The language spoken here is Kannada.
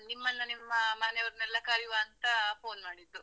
ನಿಮ್ಮನ್ನ ನಿಮ್ಮ ಮನೆ ಅವರ್ನೆಲ್ಲ ಕರೆಯುವ ಅಂತ phone ಮಾಡಿದ್ದು.